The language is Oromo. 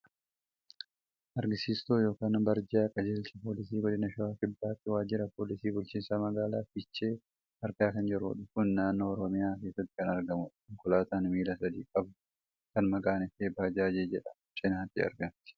Agarsiiftuu yookaan barjaa qajeelcha poolisii godina shawaa kibbaatti waajira poolisii bulchiinsa magaalaa fiichee argaa kan jirrudha. kuni naannoo oromiyaa keessatti kan argamudha. konkolaataan miila sadi qabdu kan maqaan ishee bajaajii jedhamtu cinaatti argamti.